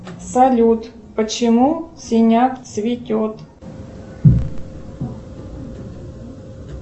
салют почему синяк цветет